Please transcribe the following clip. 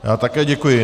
Já také děkuji.